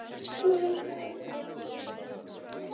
Þrír niður.